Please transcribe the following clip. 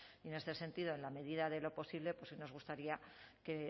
y en este sentido en la medida de lo posible sí nos gustaría que